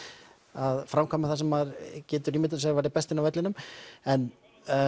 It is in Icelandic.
að framkvæma það sem maður ímyndar sér að væri best inni á vellinum en